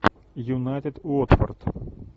юнайтед уотфорд